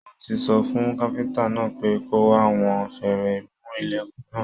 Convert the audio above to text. Mo tí sọ fún káfíntà náà pé kò wá wọn férémù ilẹkùn náà.